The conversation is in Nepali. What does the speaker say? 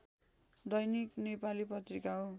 दैनिक नेपाली पत्रिका हो